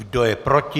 Kdo je proti?